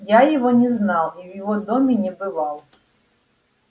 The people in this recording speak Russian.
я его не знал и в его доме не бывал